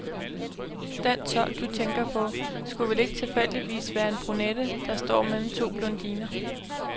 Den tolk, du tænker på, skulle vel ikke tilfældigvis være en brunette, der står mellem to blondiner.